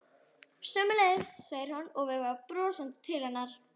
Sömuleiðis, segir hann og veifar brosandi til hennar.